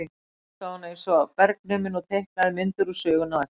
Þá hlustaði hún eins og bergnumin og teiknaði myndir úr sögunni á eftir.